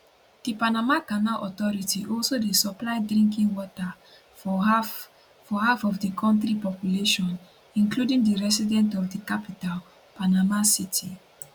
di panama canal authority also dey supply drinking water for half for half of di kontri population including di resident of di capital panama city